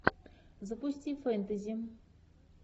запусти фэнтези